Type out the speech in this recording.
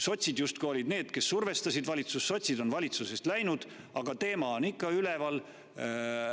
Sotsid olid justkui need, kes survestasid valitsust, nüüd on sotsid valitsusest läinud, aga teema on ikka üleval.